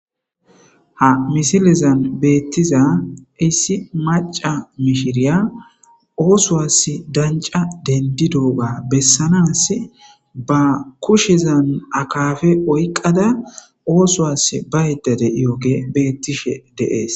Ha misilezan beettiza issi maca mishiriya oosowas danca dendi dooga bessanaas ba kushezan akafe oyqqada oosowas ba yedda de iyoge beettishe deees.